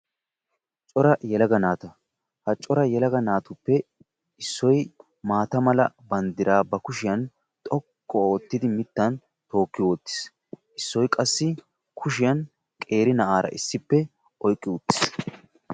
cora naata; ha cora yelaga naatuppe issoy ba maata mala banddira bari kushiyaan xoqqu oottidi oyqqi uttiis; issoy qassi kushiyaan qeeri na'ara issippe oyqqi uttiis.